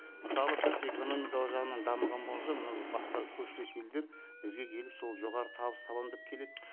мысалы біз экономикалық жағынан дамыған болған соң мынау басқа көршілес елдер бізге келіп сол жоғары табыс табамын деп келеді